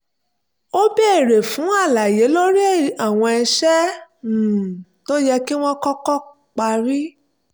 ó béèrè fún àlàyé lórí àwọn iṣẹ́ um tó yẹ kí wọ́n kọ́kọ́ parí